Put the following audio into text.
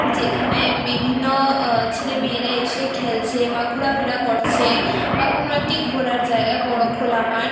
যেখানে বিভিন্ন আ-ছেলে মেয়েরা এসে খেলছে বা ঘুরাফিরা করছে বা কোনো একটি ঘোরার জায়গা বড়ো খোলা মাঠ।